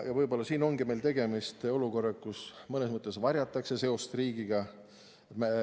Võib-olla siin ongi meil tegemist olukorraga, kus mõnes mõttes varjatakse seost riigiga.